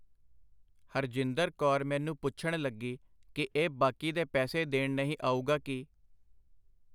ਹਰਜਿੰਦਰ ਕੌਰ ਮੈਨੂੰ ਪੁੱਛਣ ਲੱਗੀ ਕਿ ਇਹ ਬਾਕੀ ਦੇ ਪੈਸੇ ਦੇਣ ਨਹੀਂ ਆਊਗਾ ਕੀ.